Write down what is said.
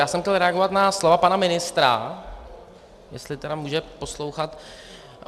Já jsem chtěl reagovat na slova pana ministra, jestli tedy může poslouchat.